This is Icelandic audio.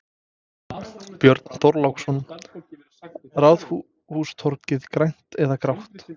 Björn Þorláksson: Ráðhústorgið, grænt eða grátt?